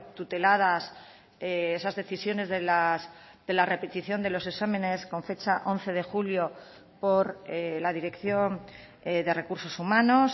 tuteladas esas decisiones de la repetición de los exámenes con fecha once de julio por la dirección de recursos humanos